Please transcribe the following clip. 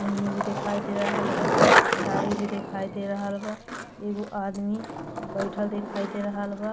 चुनी दिखयी दे रहल बा। साड़ी भी दिखाई दे रहल बा। एगो आदमी बइठल दिखाई दे रहल बा।